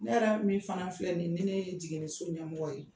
Ne yɛrɛ min fana filɛ nin ni ne ye jiginniso ɲɛmɔgɔ ye